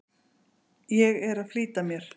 Ég er að flýta mér!